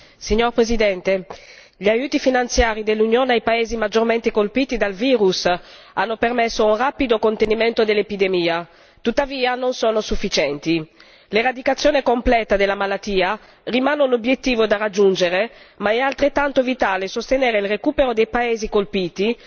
Signor Presidente, onorevoli colleghi, gli aiuti finanziari dell'Unione ai paesi maggiormente colpiti dal virus hanno permesso un rapido contenimento dell'epidemia, tuttavia non sono sufficienti. L'eradicazione completa della malattia rimane un obiettivo da raggiungere, ma è altrettanto vitale sostenere il recupero dei paesi colpiti